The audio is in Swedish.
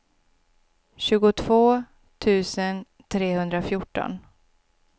tjugotvå tusen trehundrafjorton